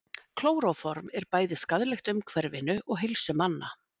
klóróform er bæði skaðlegt umhverfinu og heilsu manna